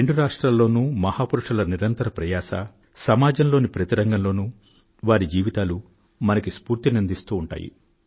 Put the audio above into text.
రెండు రాష్ట్రాల్లోనూ మహాపురుషుల నిరంతర ప్రయాస సమాజంలోని ప్రతి రంగం లోనూ వారి జీవితాలు మనకు స్ఫూర్తినందిస్తూ ఉంటాయి